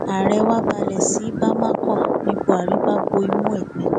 ààrẹ wá balẹ sí bámakọ ní buhari bá bo imú ẹ pinpin